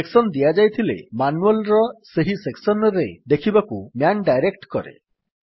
section ଦିଆଯାଇଥିଲେ manual ର ସେହି ସେକ୍ସନ୍ ରେ ଦେଖିବାକୁ ମ୍ୟାନ୍ ଡାଇରେକ୍ଟ୍ କରେ